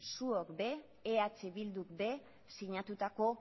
zuok be eh bilduk be sinatutako